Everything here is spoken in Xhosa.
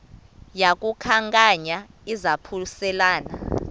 yaku khankanya izaphuselana